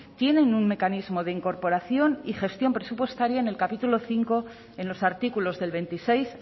tienen un mecanismo de incorporación y gestión presupuestaria en el capítulo cinco en los artículos del veintiséis